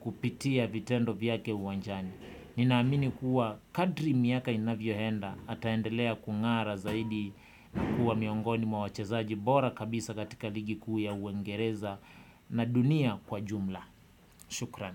kupitia vitendo vyake uwanjani. Ninaamini kuwa kadri miaka inavyoenda ataendelea kungara zaidi na kuwa miongoni mwa wachezaji bora kabisa katika ligi kuu ya uengereza na dunia kwa jumla. Shukran.